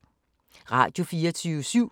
Radio24syv